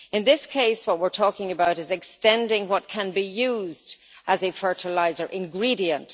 In this case, what we are talking about is extending what can be used as a fertiliser ingredient.